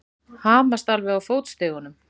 Hamast alveg á fótstigunum!